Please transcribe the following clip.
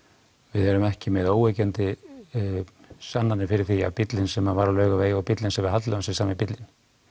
við erum ekki með óyggjandi sannanir fyrir því að bíllinn sem var á Laugavegi og bíllinn sem við haldlögðum sé sami bíllinn